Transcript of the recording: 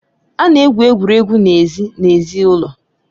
A na-egwu egwuregwu n'èzí n'èzí ụlọ